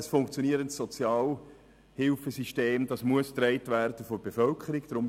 Ein funktionierendes Sozialhilfesystem muss von der Bevölkerung getragen werden.